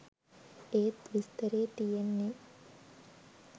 ඒත් විස්තරේ තියෙන්නේ